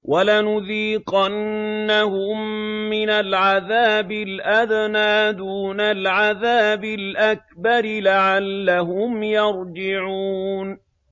وَلَنُذِيقَنَّهُم مِّنَ الْعَذَابِ الْأَدْنَىٰ دُونَ الْعَذَابِ الْأَكْبَرِ لَعَلَّهُمْ يَرْجِعُونَ